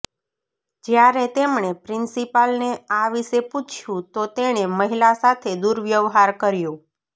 જ્યારે તેમણે પ્રિન્સીપાલને આ વિશે પૂછ્યું તો તેણે મહિલા સાથે દુર્વ્યવહાર કર્યો